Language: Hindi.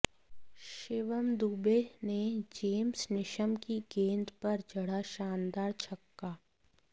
शिवम दूबे ने जेम्स नीशम की गेंद पर जड़ा शानदार छक्का